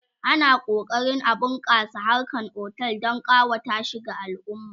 ana kokarin a bunƙasa harkan otel Dan kawata shi ga alumma